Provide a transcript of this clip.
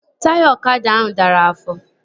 Taya ọkada ahụ dara afọ